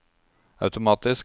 automatisk